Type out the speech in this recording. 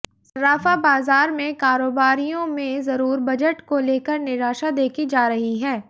सर्राफा बाजार के कारोबारियों में जरूर बजट को लेकर निराशा देखी जा रही है